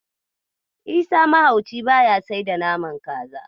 Isa mahauci ba ya sai da naman kaza.